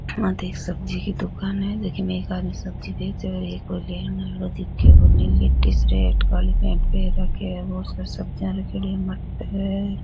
आ एक सब्जी की दुकान है झकी मे एक आदमी सब्जी बेच रहा है लेकिन एक --